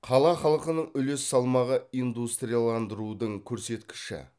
қала халқының үлес салмағы индустрияландырудың көрсеткіші